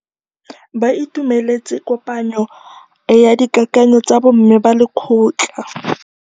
Ba itumeletse kôpanyo ya dikakanyô tsa bo mme ba lekgotla.